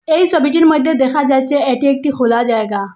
এই সোবিটির মইধ্যে দেখা যাইছে এটি একটি খোলা জায়গা।